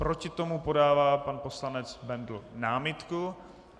Proti tomu podává pan poslanec Bendl námitku.